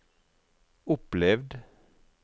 opplevd